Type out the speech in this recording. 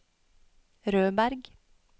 Rødberg